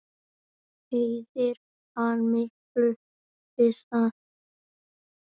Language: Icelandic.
Eyðir hann miklu við það?